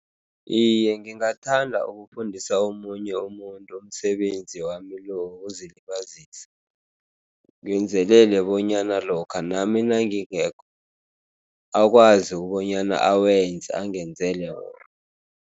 Iye, ngingathanda ukufundisa omunye umuntu umsebenzi wami lo wokuzilibazisa. Ngenzelele bonyana lokha nami nangingekho, akwazi bonyana awenze angenzele wona.